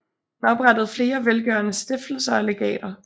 Han oprettede flere velgørende stiftelser og legater